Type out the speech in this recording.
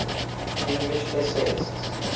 english essayists